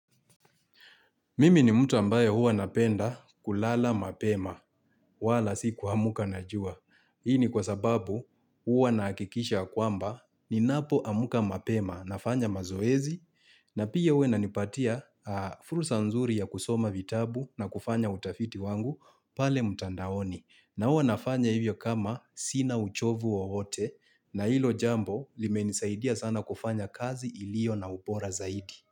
Mimi ni mtu ambaye huwa napenda kulala mapema wala si kuamuka najua. Hii ni kwa sababu huwa naakikisha kwamba ni napo amka mapema nafanya mazoezi na pia hua inanipatia fursa nzuri ya kusoma vitabu na kufanya utafiti wangu pale mtandaoni. Na hua nafanya hivyo kama sina uchovu wowote na hilo jambo lime nisaidia sana kufanya kazi ilio na ubora zaidi.